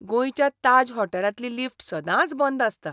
गोंयच्या ताज हॉटेलांतली लिफ्ट सदांच बंद आसता.